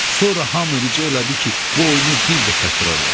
Sonra hamı rica elədi ki, bu oyunu bir də təkrar eləsin.